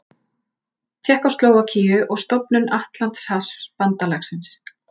Tékkóslóvakíu og stofnun Atlantshafsbandalagsins.